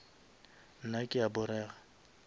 nna ke a porega